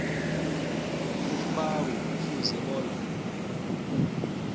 umbawi kufuze bona